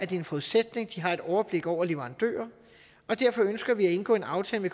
det en forudsætning at de har et overblik over leverandører og derfor ønsker vi at indgå en aftale